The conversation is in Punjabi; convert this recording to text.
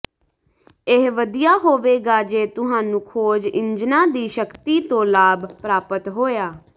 ਇਹ ਵਧੀਆ ਹੋਵੇਗਾ ਜੇ ਤੁਹਾਨੂੰ ਖੋਜ ਇੰਜਣਾਂ ਦੀ ਸ਼ਕਤੀ ਤੋਂ ਲਾਭ ਪ੍ਰਾਪਤ ਹੋਇਆ